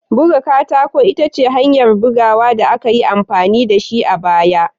Buga katako ita ce hanyar buga da aka yi amfani da shi a baya.